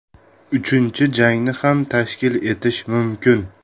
Uchinchi jangni ham tashkil etish mumkin.